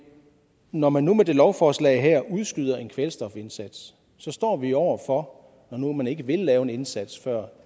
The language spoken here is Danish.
når man nu med det lovforslag her udskyder en kvælstofindsats står vi over for når nu man ikke vil lave en indsats før